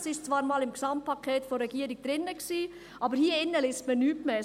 Es war zwar einmal im Gesamtpaket der Regierung drin, aber hier drin liest man nichts mehr davon.